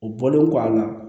O bɔlen kɔ a la